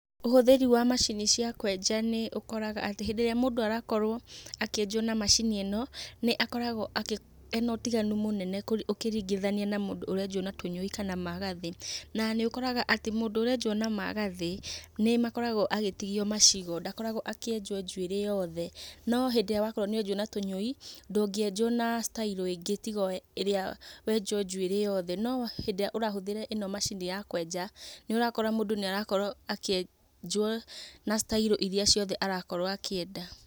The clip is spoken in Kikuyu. Ũhũthĩri wa macini cia kwenja, nĩ ũkoraga atĩ, mũndũ arakorwo akĩenjwo na macini ĩno, nĩ akoragwo ena ũtiganu mũnene ũkĩringithania na mũndũ ũrenjwo na tũnyũi kana na magathĩ. Na nĩ ũkoraga atĩ mũndũ ũrenjwo na magathĩ, nĩ makorgwo agĩtigio macigo. Ndakoragwo akĩenjwo njuĩrĩ yothe. No hindĩ ĩrĩa wakorwo ũkĩenjwo na tũnyũi, ndũngĩenjwo na style ĩngĩ tiga oĩrĩa wenjwo njuĩrĩ yothe. No rĩrĩa ũrahũthĩra macini ĩno ya kwenja, nĩ ũrakora mũndũ nĩ arakorwo akĩenjwo na sitairũ iria ciothe arakorwo akĩenda.